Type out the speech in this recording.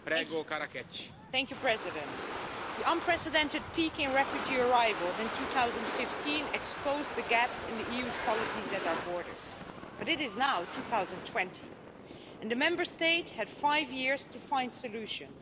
Mr President, the unprecedented peak in refugee arrivals in 2015 exposed the gaps in the EU's policies at our borders, but it is now 2020 and the Member States have had five years to find solutions.